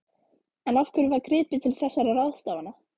En af hverju var gripið til þessara ráðstafana?